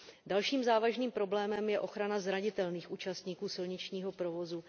Dalším závažným problémem je ochrana zranitelných účastníků silničního provozu.